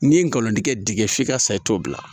N'i ye nkalon tigɛ diɲɛ f'i ka sa i t'o bila